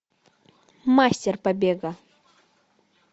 мастер побега